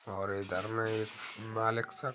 और इधर में एक मलिक सा --